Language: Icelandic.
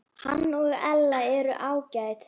Hann og Ella eru ágæt.